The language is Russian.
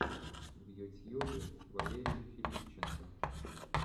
в ютьюбе валерий филипченко